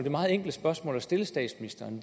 og meget enkle spørgsmål at stille statsministeren